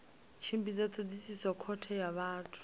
tshimbidza thodisiso khothe ya vhathu